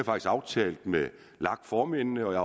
aftalt med lag formændene og jeg